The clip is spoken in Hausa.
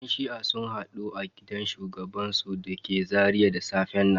Yan shi'a sun hadu a gidan shugabansu da ke Zaria da safen nan.